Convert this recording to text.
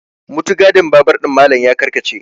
mutugadin babur ɗin Malam ya karkace